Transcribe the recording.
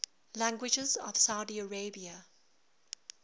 languages of saudi arabia